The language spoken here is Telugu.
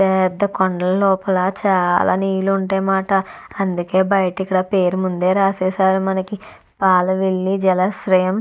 పెద్ద కొండల లోపల చాలా నీళ్లు ఉంటాయన్నమాట. అందుకే బయట పేరు ముందే రాసేశారు పాలవెల్లి జలాశ్రయం.